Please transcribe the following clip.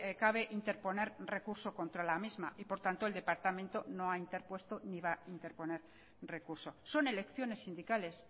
cabe interponer recurso contra la misma y por tanto el departamento no ha interpuesto ni va a interponer recurso son elecciones sindicales